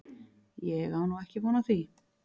Ég á nú ekki von á því.